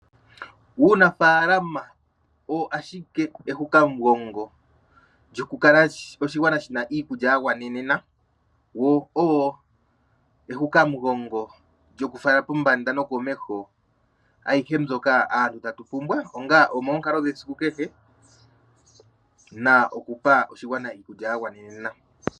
Uunafaalama owo ashike ehukamugongo lyokukala oshigwana shina iikulya ya gwanenena woo owo ehukamugongo lyokufala pombanda nokomeho ayihe mbyoka aantu tatu pumbwa onga omoonkaalo dhesiku kehe na okupa oshigwana iikulya ya gwana.